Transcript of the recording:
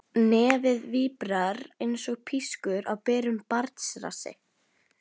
Nefið víbrar einsog pískur á berum barnsrassi.